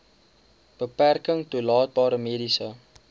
beperking toelaatbare mediese